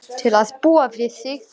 Til að búa við þig þar.